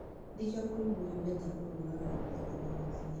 nĩkĩo mũrimũ ũyũ wĩtagwo "mũũragani ũtakũmenyithagia"